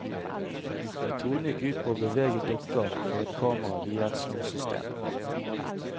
Metoden gikk ut på å bevege dukker for et kamera via et snorsystem.